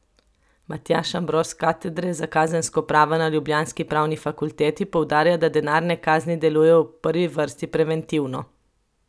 Matjaž Ambrož s katedre za kazensko pravo na ljubljanski pravni fakulteti poudarja, da denarne kazni delujejo v prvi vrsti preventivno.